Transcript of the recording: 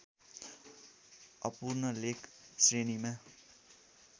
अपूर्ण लेख श्रेणीमा